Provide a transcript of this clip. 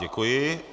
Děkuji.